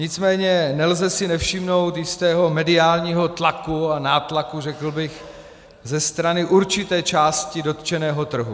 Nicméně nelze si nevšimnout jistého mediálního tlaku a nátlaku, řekl bych, ze strany určité části dotčeného trhu.